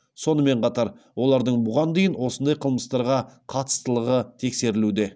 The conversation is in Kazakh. сонымен қатар олардың бұған дейін осындай қылмыстарға қатыстылығы тексерілуде